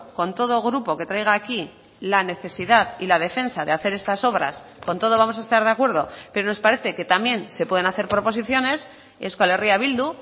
con todo grupo que traiga aquí la necesidad y la defensa de hacer estas obras con todo vamos a estar de acuerdo pero nos parece que también se pueden hacer proposiciones euskal herria bildu